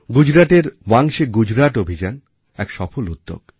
গুজরাটের ওয়াংচে গুজরাট অভিযান এক সফল উদ্যোগ